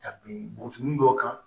Ka bin buin dɔ kan